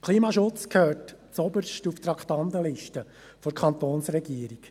Der Klimaschutz gehört zuoberst auf die Traktandenliste der Kantonsregierung.